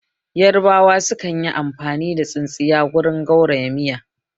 Yarabawa su man yi amfani da tsintsiya wurin gauraya miya